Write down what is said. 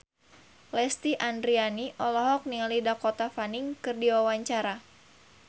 Lesti Andryani olohok ningali Dakota Fanning keur diwawancara